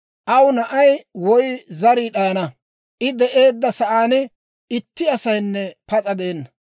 Aw na'ay woy zarii d'ayana; I de'eedda sa'aan itti asaynne pas'a de'enna.